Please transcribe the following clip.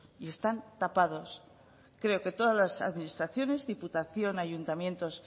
y están tapados creo que todas las administraciones diputación ayuntamientos